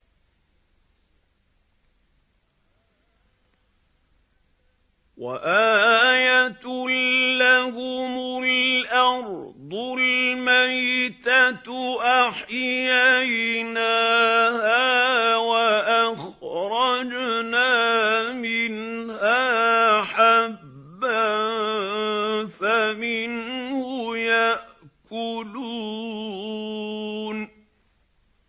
وَآيَةٌ لَّهُمُ الْأَرْضُ الْمَيْتَةُ أَحْيَيْنَاهَا وَأَخْرَجْنَا مِنْهَا حَبًّا فَمِنْهُ يَأْكُلُونَ